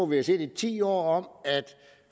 vi har set i ti år hvor